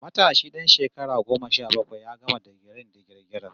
Matashi dan shekara goma sha bakwai ya gama digirin digirgir